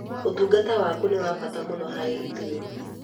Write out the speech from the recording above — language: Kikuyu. Ũtungata waku nĩ wa bata mũno harĩ ithuĩ.